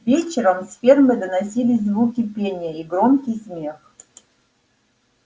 вечером с фермы доносились звуки пения и громкий смех